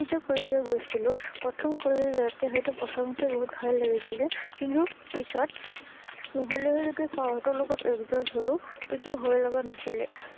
মই যেতিয়া কলেজলৈ গৈছিলো, প্ৰথম কলেজলৈ যাওঁতে হয়টো প্ৰথমতে বহুত ভয় লাগিছিলে, কিন্তু পিছত লাহে লাহে যেতিয়া চাৰহতৰ লগত adjust হলো, তেতিয়া ভয় লগা নাছিলে